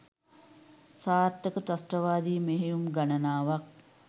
සාර්ථක ත්‍රස්තවාදී මෙහෙයුම් ගණනාවක්